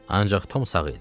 Ancaq Tom sağ idi.